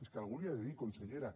és que algú li ha de dir consellera